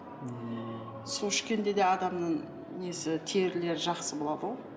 су ішкенде де адамның несі терілері жақсы болады ғой